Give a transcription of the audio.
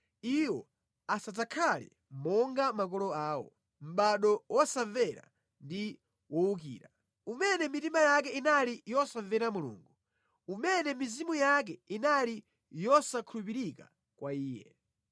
Iwo asadzakhale monga makolo awo, mʼbado wosamvera ndi wowukira, umene mitima yake inali yosamvera Mulungu, umene mizimu yake inali yosakhulupirika kwa Iye.